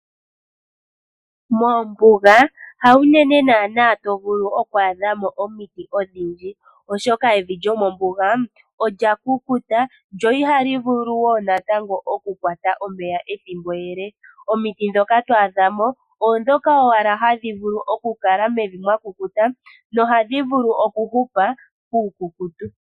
Moombuga hawunene nana to vulu oku adha mo omiti odhindji, oshoka evi lyomombuga olya kukuta lyo ihali vulu woo natango okukwata omeya ethimbo ele. Omiti ndhoka to adha mo oondhoka owala hadhi vulu okukala mevi mwa kukuta nohadhi vulu okuhupa puukukutu.